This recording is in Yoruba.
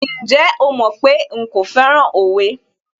Ǹjẹ́ o mọ̀ pé nkò fẹ́ràn òwe?